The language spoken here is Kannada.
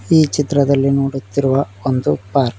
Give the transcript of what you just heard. ಈ ಚಿತ್ರದಲ್ಲಿ ನೋಡುತ್ತಿರುವ ಒಂದು ಪಾರ್ಕ್ .